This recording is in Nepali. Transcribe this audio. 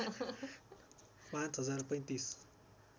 ५ हजार ३५